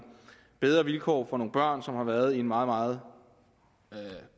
bedre vilkår for nogle børn som har været i en meget meget